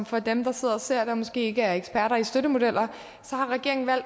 for dem der sidder og ser det og som måske ikke er eksperter i støttemodeller